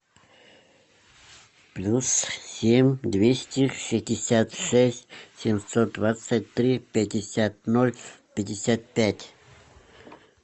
плюс семь двести шестьдесят шесть семьсот двадцать три пятьдесят ноль пятьдесят пять